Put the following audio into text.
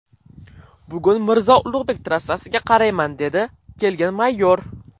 Bugun Mirzo Ulug‘bek trassasiga qarayman, dedi kelgan mayor.